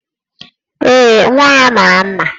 Ee, nwa ya mara mma